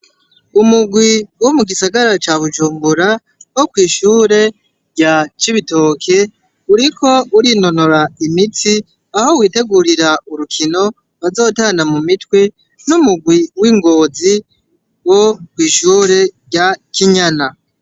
Umurwi wo mu gisagara ca Bujumbura wo kw'ishure rya Cibitoke, uriko urinonora imitsi, aho witegurira urukino bazotana mu mitwe n'umurwi w'i Ngozi wo kw'ishure rya Kinyana.